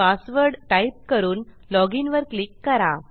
password type करून login वर click करा